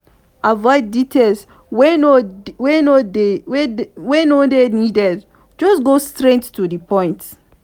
avoid details wey no dey needed just go straight to di point